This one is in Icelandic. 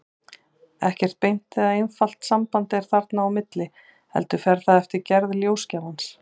Ekkert beint eða einfalt samband er þarna á milli, heldur fer það eftir gerð ljósgjafans.